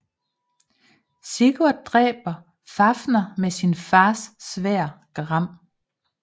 Sigurd dræber Fafner med sin fars sværd Gram